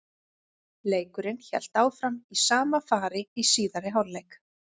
Leikurinn hélt áfram í sama fari í síðari hálfleik.